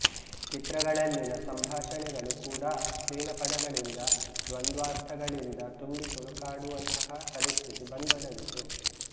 ಚಿತ್ರಗಳಲ್ಲಿನ ಸಂಭಾಷಣೆಗಳೂ ಕೂಡ ಅಶ್ಲೀಲ ಪದಗಳಿಂದ ದ್ವಂದ್ವಾರ್ಥ ಗಳಿಂದ ತುಂಬಿ ತುಳುಕಾಡುವಂತಹ ಪರಿಸ್ಥಿತಿ ಬಂದೊದಗಿತು